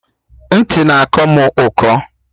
Ntị na-akọ mụ ụkọ